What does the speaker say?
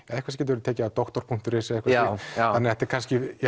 verið tekið af doktor punktur is já já þetta er kannski